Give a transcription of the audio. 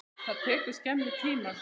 Og það tekur skemmri tíma.